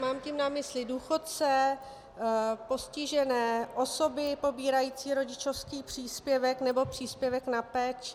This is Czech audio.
Mám tím na mysli důchodce, postižené, osoby pobírající rodičovský příspěvek nebo příspěvek na péči.